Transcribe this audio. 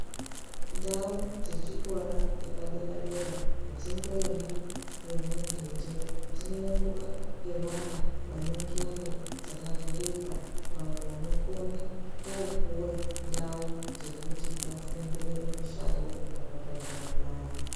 Ndau dzechikora chepadera dera adzingoendwi nemundu nje dzinoendwa nevana vane ngondxondo dzakavhurika avo vanokone kupuwa ndau dzekuti vafundire mishando yakapambaukana.